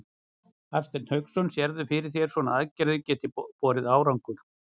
Hafsteinn Hauksson: Sérðu fyrir þér að svona aðgerðir geti borið árangur?